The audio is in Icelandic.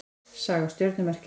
Saga stjörnumerkjanna.